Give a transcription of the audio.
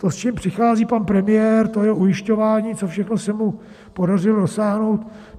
To, s čím přichází pan premiér, to je ujišťování, co všechno se mu podařilo dosáhnout.